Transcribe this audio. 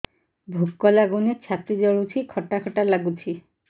ଭୁକ ଲାଗୁନି ଛାତି ଜଳୁଛି ଖଟା ଖଟା ଲାଗୁଛି